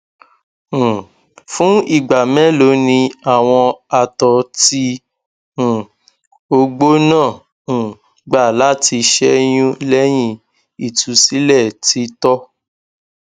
um fun igba melo ni awọn àtọ ti um ogbo naa um gba lati ṣeyun lẹhin itusilẹ titọ